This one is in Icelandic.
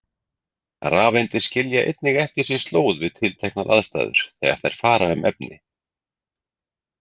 Rafeindir skilja einnig eftir sig slóð við tilteknar aðstæður þegar þær fara um efni.